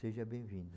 Seja bem-vindo.